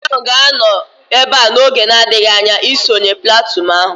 Kọmanda ahu ga-anọ ebea oge na-adịghị anya isonye platụụn ahu